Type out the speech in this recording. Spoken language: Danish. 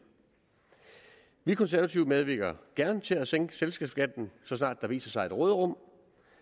vi konservative medvirker gerne til at sænke selskabsskatten så snart der viser sig et råderum